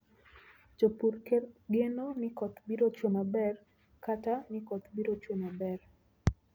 Jopur geno ni koth biro chue maber kata ni koth biro chue maber.